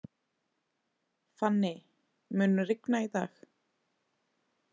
Fanny, mun rigna í dag?